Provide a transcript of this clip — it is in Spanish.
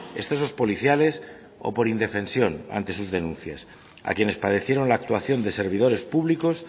excesos policiales o por indefensión ante sus denuncias a quienes padecieron la actuación de servidores públicos